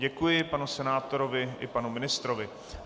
Děkuji panu senátorovi i panu ministrovi.